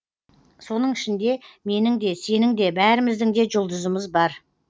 соның ішінде менің де сенің де бәріміздің де жұлдызымыз бар